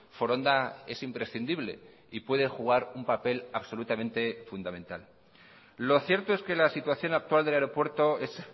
foronda es imprescindible y puede jugar un papel absolutamente fundamental lo cierto es que la situación actual del aeropuerto es